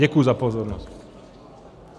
Děkuji za pozornost.